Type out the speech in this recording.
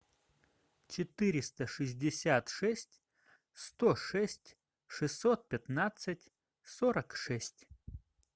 четыреста шестьдесят шесть сто шесть шестьсот пятнадцать сорок шесть